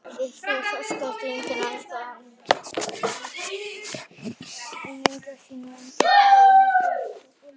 Eind myndast ásamt andeind sinni og andeindin hverfur inn í svartholið.